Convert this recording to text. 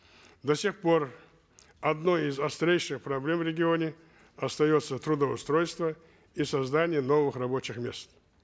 до сих пор одной их острейших проблем в регионе остается трудоустройство и создание новых рабочих мест